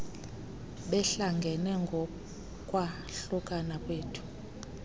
behlangene kukwahlukana kwethu